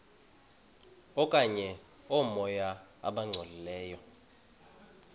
okanye oomoya abangcolileyo